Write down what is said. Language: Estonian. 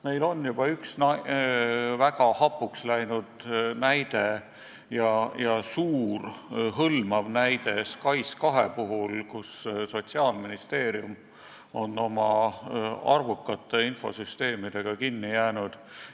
Meil on juba üks väga hapuks läinud, suur ja hõlmav SKAIS2 näide, kus Sotsiaalministeerium on oma arvukate infosüsteemidega kinni jäänud.